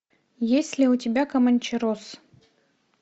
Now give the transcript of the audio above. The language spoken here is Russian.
есть ли у тебя команчерос